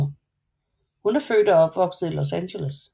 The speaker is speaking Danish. Hun er født og opvokset i Los Angeles